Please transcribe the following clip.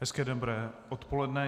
Hezké dobré odpoledne.